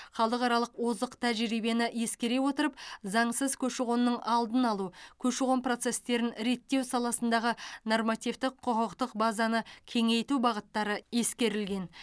халықаралық озық тәжірибені ескере отырып заңсыз көші қонның алдын алу көші қон процестерін реттеу саласындағы нормативтік құқықтық базаны кеңейту бағыттары ескерілген